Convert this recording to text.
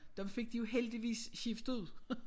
Dem fik de jo heldigvis skiftet ud